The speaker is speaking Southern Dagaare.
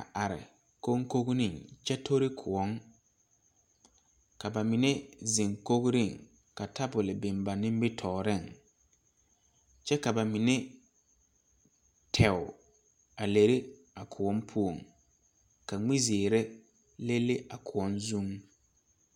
a are konkone kyɛ tori koɔ, ka ba mine zeŋ kori ka tabol biŋ ba nimitɔreŋ kyɛ ka ba mine leɛ teɛge a leri a koɔ poɔŋ ka mie zeɛre leŋ leŋ a koɔ a koɔ zuŋ.